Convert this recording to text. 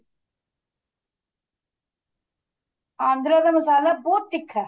ਆਂਦਰਾ ਦਾ ਮਸਾਲਾ ਬਹੁਤ ਤਿੱਖਾ